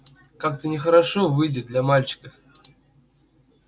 но как-то нехорошо выйдет для мальчика